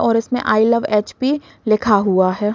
और इसमें I love HP. लिखा हुआ है।